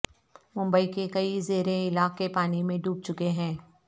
ممبئی کے کئی زیریں علاقے پانی میں ڈوب چکے ہیں